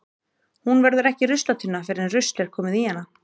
Hún verður ekki ruslatunna fyrr en rusl er komið í hana.